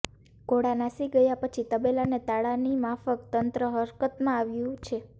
ઘોડા નાસી ગયા પછી તબેલાને તાળાની માફક તંત્ર હરકતમાં આવયું છે